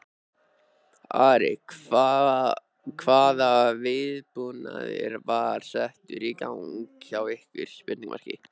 Ari, hvaða viðbúnaður var settur í gang hjá ykkur?